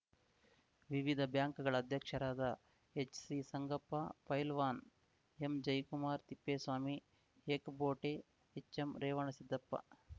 ವಿವಿಧ ಬ್ಯಾಂಕ್‌ಗಳ ಅಧ್ಯಕ್ಷರಾದ ಎಚ್‌ಸಿಸಂಗಪ್ಪ ಪೈಲ್ವಾನ್‌ ಎಂಜಯಕುಮಾರ್ ತಿಪ್ಪೇಸ್ವಾಮಿ ಏಕಬೋಟೆ ಎಚ್‌ಎಂರೇವಣಸಿದ್ದಪ್ಪ